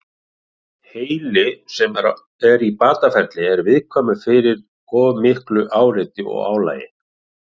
Heili sem er í bataferli er viðkvæmur fyrir of miklu áreiti og álagi.